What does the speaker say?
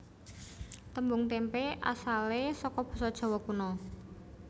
Tembung témpé asalé saka basa Jawa Kuna